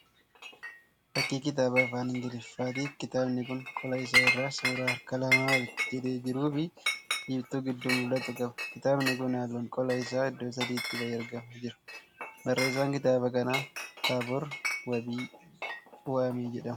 Fakkii kitaaba afaan Ingilifaati Kitaabni kun qola isaa irraa suuraa harka lama walitti jedhee jiruu fi biiftuu gidduun mul'atuu qaba. Kitaabni kun halluun qola isaa iddoo sadiitti ba'ee argamaa jira. Barreessaan kitaaba kanaa Taabor Waamii jedhama.